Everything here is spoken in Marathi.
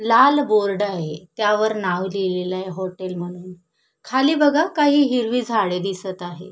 लाल बोर्ड आहे त्यावर नाव लिहिलेलं आहे हॉटेल म्हणून खाली बघा काही हिरवी झाड दिसत आहे.